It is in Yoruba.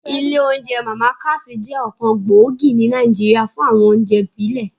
Ilé oúnjẹ Màmá Cass jẹ́ ọ̀kan gbòógì ní Nàìjíríà fún àwọn oúnjẹ ìbílẹ̀